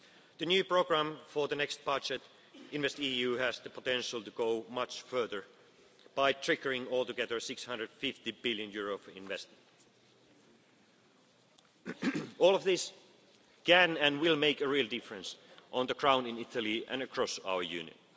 access. The new programme for the next budget in the EU has the potential to go much further by triggering altogether EUR 650 billion for investment. All of this can, and will, make a real difference on the ground in Italy and across